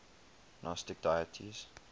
gnostic deities